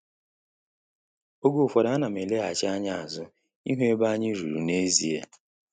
Oge ụfọdụ ana m eleghachi anya azu ihu ebe anyị ruru n'ezie